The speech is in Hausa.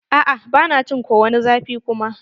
A'a ba na jin ko wani zafi kuma.